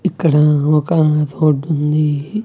ఇక్కడా ఒకా రోడ్ ఉంది.